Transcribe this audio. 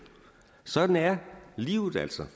sådan er livet altså